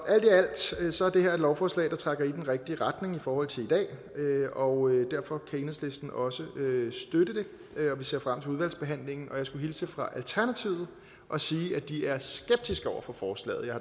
alt i alt er det her et lovforslag der trækker i den rigtige retning i forhold til i dag og derfor kan enhedslisten også støtte det vi ser frem til udvalgsbehandlingen og jeg skulle hilse alternativet og sige at de er skeptiske over for forslaget